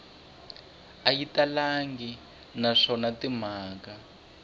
a yi talangi naswona timhaka